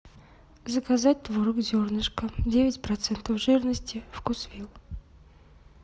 заказать творог зернышко девять процентов жирности вкусвилл